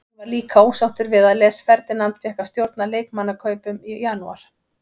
Hann var líka ósáttur við að Les Ferdinand fékk að stjórna leikmannakaupum í janúar.